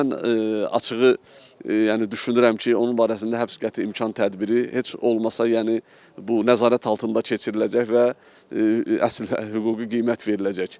Mən açığı, yəni düşünürəm ki, onun barəsində həbs qəti imkan tədbiri heç olmasa yəni bu nəzarət altında keçiriləcək və əsil hüquqi qiymət veriləcək.